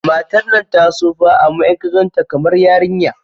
Matar nan ta tsufa amma in ka ganta kamar yarinya